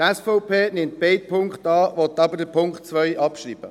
Die SVP nimmt beide Punkte an, will aber den Punkt 2 abschreiben.